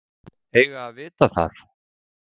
Eiga að vita það.